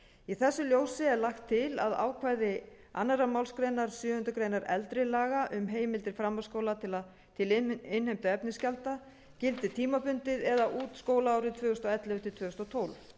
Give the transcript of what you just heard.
í þessu ljósi er lagt til að ákvæði önnur málsgrein sjöundu greinar eldri laga um heimildir framhaldsskóla til innheimtu efnisgjalda gildi tímabundið eða út skólaárið tvö þúsund og ellefu til tvö þúsund og tólf